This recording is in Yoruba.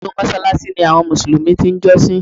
Nínú Mósáláásí ni àwọn Mùsùlùmí ti n jọ́sìn